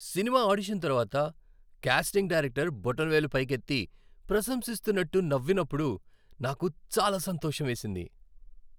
Cinema audition తర్వాత casting director బొటనవేలు పైకెత్తి ప్రశంసిస్తున్నట్టు నవ్వినప్పుడు నాకు చాలా సంతోషమేసింది.